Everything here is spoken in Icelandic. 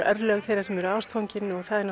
örlög þeirra sem eru ástfangin